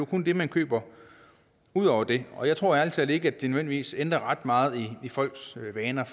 kun det man køber ud over det og jeg tror ærlig talt ikke at det nødvendigvis ændrer ret meget i folks vaner